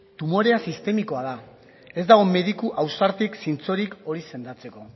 tumorea sistemikoa da ez dago mediku ausartik zintzorik hori sendatzeko